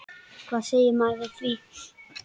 Hvað segir maður við því?